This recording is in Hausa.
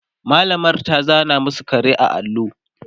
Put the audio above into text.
mallamar ta zana masu kare a allo